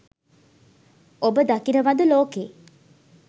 ඔබ දකිනවද ලෝකෙ